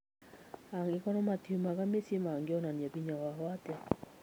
Angĩkorwo matiumaga mĩciĩ, mangĩonania hinya wao atĩa ?